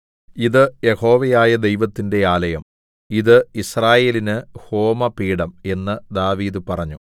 ഇത് യഹോവയായ ദൈവത്തിന്റെ ആലയം ഇത് യിസ്രായേലിന് ഹോമപീഠം എന്ന് ദാവീദ് പറഞ്ഞു